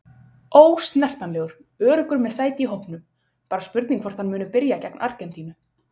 Ósnertanlegur- Öruggur með sæti í hópnum, bara spurningin hvort hann muni byrja gegn Argentínu?